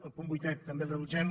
el punt vuitè també el rebutgem